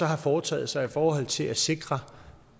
har foretaget sig i forhold til at sikre